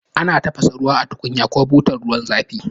Ana tafasa ruwa a tukunyar ko butar ruwan zafi